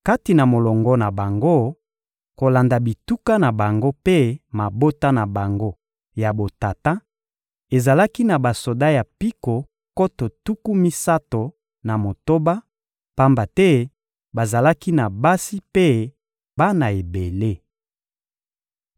Kati na molongo na bango kolanda bituka na bango mpe mabota na bango ya botata; ezalaki na basoda ya mpiko nkoto tuku misato na motoba, pamba te bazalaki na basi mpe bana ebele.